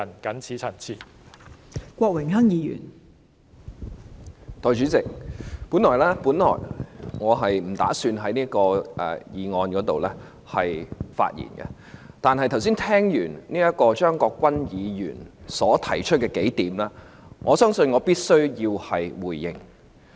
代理主席，我本來不打算就《2018年選舉法例條例草案》發言，但當我聽到張國鈞議員剛才提出的數點，我相信必須回應。